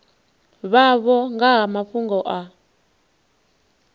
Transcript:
vhavho nga ha mafhungo a